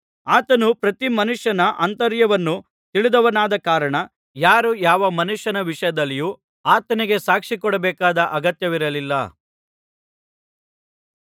ಆತನು ಪ್ರತಿ ಮನುಷ್ಯನ ಆಂತರ್ಯವನ್ನು ತಿಳಿದವನಾದ ಕಾರಣ ಯಾರೂ ಯಾವ ಮನುಷ್ಯನ ವಿಷಯದಲ್ಲಿಯೂ ಆತನಿಗೆ ಸಾಕ್ಷಿ ಕೊಡಬೇಕಾದ ಅಗತ್ಯವಿರಲಿಲ್ಲ